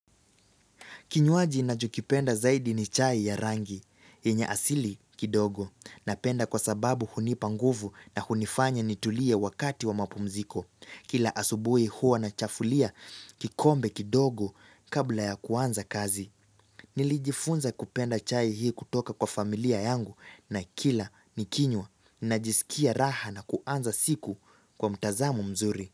Kinywaji nachokipenda zaidi ni chai ya rangi, yenye asili kidogo, napenda kwa sababu hunipa nguvu na hunifanya nitulie wakati wa mapumziko. Kila asubuhi huwa nachafulia kikombe kidogo kabla ya kuanza kazi. Nilijifunza kupenda chai hii kutoka kwa familia yangu na kila nikinywa najisikia raha na kuanza siku kwa mtazamu mzuri.